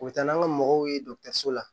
U bɛ taa n'an ka mɔgɔw ye dɔgɔtɔrɔso la